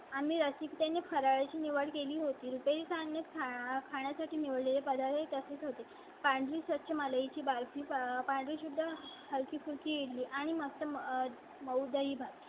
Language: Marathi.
आम्ही रसिकते ने फराळा ची निवड केली होती. ली सांगणे चा खाण्यासाठी मिळाले पदार्थ तसेच होते. पांढरी स्वच्छ माळायची बाल ची पार्टी सुद्धा हलकी फुल की ली आणि मागचं मग उद्या ही